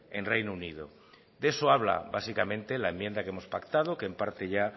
en reino unido de eso habla básicamente la enmienda que hemos pactado que en parte ya